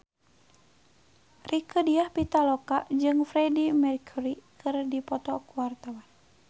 Rieke Diah Pitaloka jeung Freedie Mercury keur dipoto ku wartawan